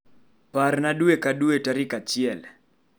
Parna dwe ka dwe tarik achiel.